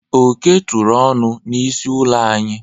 Oke tụrụ ọnụ n'isi ụlọ anyị.